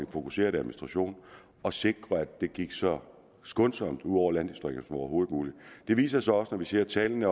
og fokuseret administration at sikre at det gik så skånsomt ud over landdistrikterne som overhovedet muligt det viser sig også når vi ser tallene